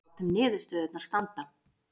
Látum niðurstöðurnar standa